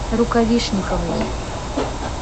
рукавишниковой